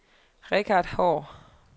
Richard Haahr